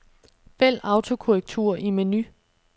Vælg autokorrektur i menu.